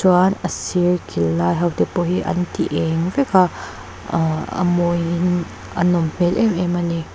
chuan a sir kil lai ho te pawh hi an ti eng vek a aa a mawiin a nawm hmel em em a ni.